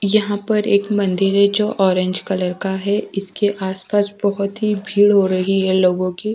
यहाँ पर एक मंदिर है जो ऑरेंज कलर का है इसके आसपास बहुत ही भीड़ हो रही है लोगों की--